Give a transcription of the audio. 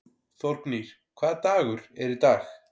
Þórgnýr, hvaða dagur er í dag?